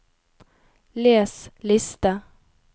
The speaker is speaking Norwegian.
les liste